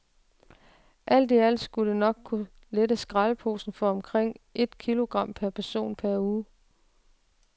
Alt i alt skulle det kunne lette skraldeposen for omkring et kilogram per person per uge.